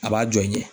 A b'a jɔ n ye